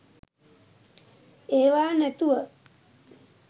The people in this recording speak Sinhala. ඒවා නැතුව